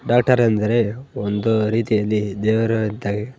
Doctor ಎಂದರೆ ಒಂದು ರೀತಿಯಲ್ಲಿ ದೇವರು ಇದ್ದ ಹಾಗೆ.